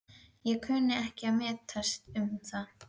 en kunni ekki við að metast um það.